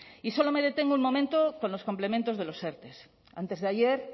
y solo me detengo un momento con los complementos de los erte antes de ayer